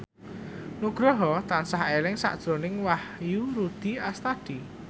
Nugroho tansah eling sakjroning Wahyu Rudi Astadi